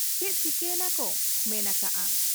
ᱪᱮᱫ ᱪᱤᱠᱟᱹᱭᱮᱱᱟ ᱠᱚ ᱢᱮᱱ ᱟᱠᱟᱜ ᱟ ᱾